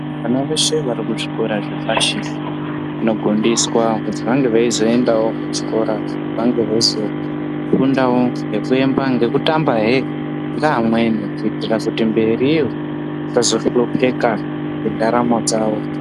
Vana veshe varikuzvikora zvepashi vanogondeswa kuti vange veizoendawo kuchikora vange veizokundawo ngekutamba hee ngeamweni kuitira kuti mberiyo vazohlopeka ngendaramo dzavo .